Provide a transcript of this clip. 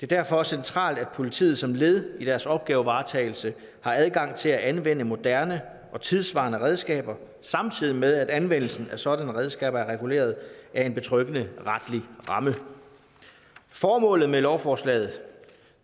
derfor centralt at politiet som led i deres opgavevaretagelse har adgang til at anvende moderne og tidssvarende redskaber samtidig med at anvendelsen af sådanne redskaber er reguleret af en betryggende retlig ramme formålet med lovforslaget